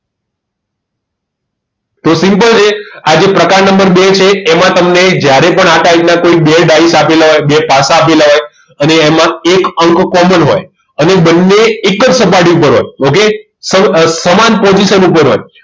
તે simple છે આ પ્રકાર નંબર બે જે છે એમાં તમને જ્યારે પણ આ type ના બે tiles આપેલા હોય બે પાસા આપેલા હોય અને એમાં એક અંક common હોય હવે બંને એક જ સપાટી પર હોય okay સમાન position ઉપર હોય